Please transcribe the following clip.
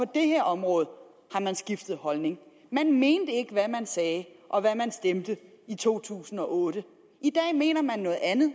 det her område har man skiftet holdning man mente ikke hvad man sagde og hvad man stemte i to tusind og otte i dag mener man noget andet